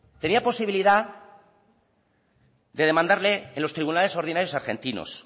tenía posibilidad de demandarle en los tribunales ordinarios argentinos